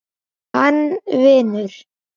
Hann vinur.